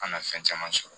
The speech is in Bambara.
An na fɛn caman sɔrɔ